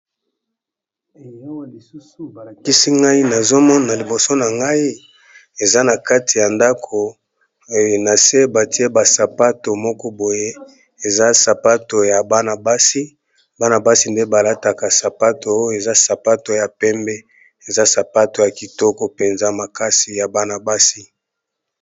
Eloko lususu balakisi ngai nazomona liboso na ngai eza na kati ya ndakonase batie basapato moko boye eza sapato ya bana-basi banabasi nde balataka sapato oyo eza sapato ya pembe eza sapato ya kitoko mpenza makasi ya bana-basi.